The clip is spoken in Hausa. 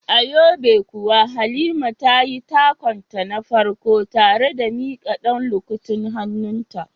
A yobe kuwa Halima tayi takun ta na farko tare da mika dan lukutin hannunta.